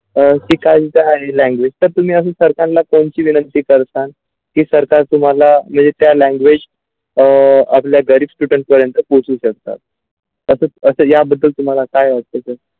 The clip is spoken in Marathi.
langauge तर तुम्ही असून सरकारला कोणते विनंती करता की सरकार तुम्हाला ते language अ आपल्या गरीब student पर्यंत पोचू शकता असच असा या याबद्दल तुम्हाला काय .